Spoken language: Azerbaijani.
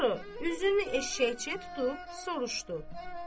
Sonra üzünü eşşəkçiyə tutub soruşdu: